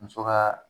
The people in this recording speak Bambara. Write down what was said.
Muso ka